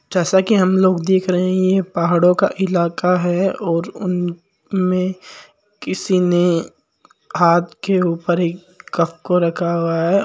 जैसा कि हम लोग देख रहे है कि यह एक पहाडों का इलाका है और उन्मे किसी ने हाथ के ऊपर एक कप रखा हुआ है।